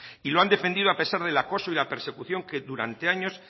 y lo han defendido a pesar del acoso y la persecución que durante años